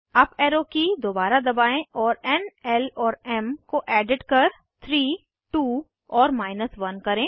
up arrow की दोबारा दबाएं और एन ल और एम को एडिट कर 3 2 और 1 करें